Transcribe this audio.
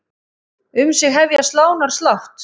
Um sig hefja slánar slátt.